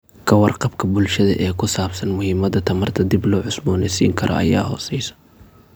Ka warqabka bulshada ee ku saabsan muhiimada tamarta dib loo cusboonaysiin karo ayaa hooseysa.